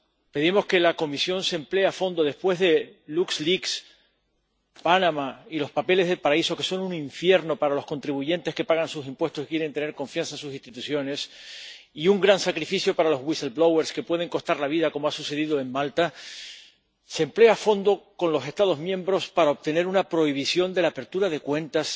Pedimos que la Comisión se emplee a fondo después de LuxLeaks, Panamá y los papeles del paraíso, que son un infierno para los contribuyentes que pagan sus impuestos y quieren tener confianza en sus instituciones, y un gran sacrificio para los a los que puede costar la vida, como ha sucedido en Malta. Que se emplee a fondo con los Estados miembros para obtener una prohibición de la apertura de cuentas